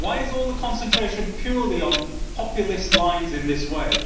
Why is all the concentration purely on populist lines in this way?